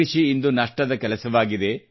ಕೃಷಿ ಇಂದು ನಷ್ಟದ ಕೆಲಸವಾಗಿದೆ